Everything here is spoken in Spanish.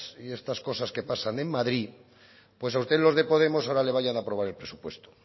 y estas cosas que pasan en madrid pues a usted los de podemos ahora le vayan a aprobar el presupuesto